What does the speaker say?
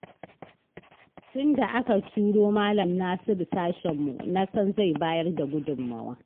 Tun da aka turo malam Nasiru sashenmu, na san zai bayar da gudunmawa.